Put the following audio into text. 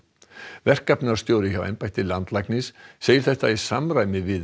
verkefnastjóri hjá embætti landlæknis segir þetta í samræmi við